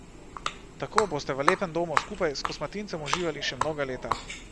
Tako boste v lepem domu skupaj s kosmatincem uživali še mnoga leta.